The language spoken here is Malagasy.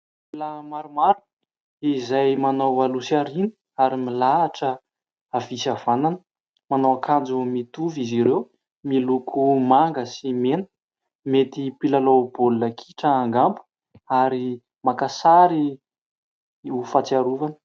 Pila maromaro izay manao aloha sy aoriana ary milahatra havia sy havanana. Manao akanjo mitovy izy ireo miloko manga sy mena. Mety mpilalao baolina kitra angamba? Ary maka sary ho fatsiarovana